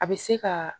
A bɛ se ka